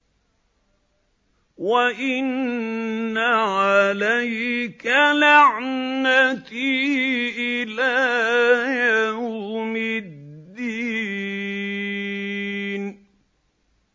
وَإِنَّ عَلَيْكَ لَعْنَتِي إِلَىٰ يَوْمِ الدِّينِ